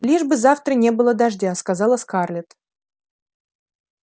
лишь бы завтра не было дождя сказала скарлетт